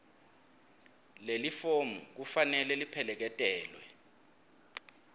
lelifomu kufanele lipheleketelwe